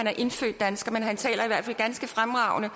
er indfødt dansker men han taler i hvert fald ganske fremragende